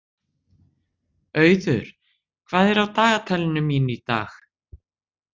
Auður, hvað er á dagatalinu mínu í dag?